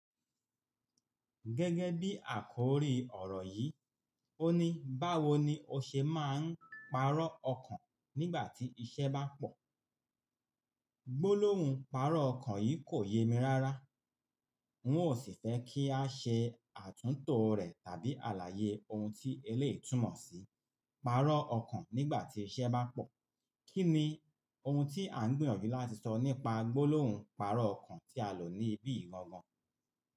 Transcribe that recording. Gẹ́gẹ́ bí àkòrí ọ̀rọ̀ yìí, ó ní báwo ni o ṣe máa ń parọ́ ọkàn nígbà tí iṣẹ́ bá pọ̀. “Gbólóhùn parọ́ ọkàn” yìí kò yé mi rá rà. N ó sì fẹ́ kí a ṣe àtúntò rẹ̀ tàbí àlàyé ohun tí eléyìí túmọ̀ sí “parọ́ ọkàn nígbà tí iṣẹ́ bá pọ̀”. Kí ni ohun tí à ń gbìyànjú láti sọ nípa gbólóhùn parọ́ ọkàn tí a lò ní ibí yìí gangan?